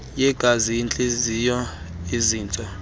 yegazi intliziyo izintso